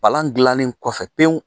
Palan dilanlen kɔfɛ pewu.